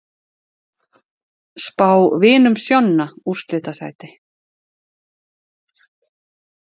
Spá Vinum Sjonna úrslitasæti